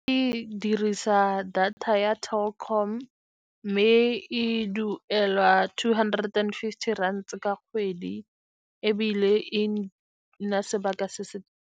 Ke dirisa data ya Telkom mme e duelwa two hundred and fifty rands ka kgwedi, ebile e nna sebaka se se.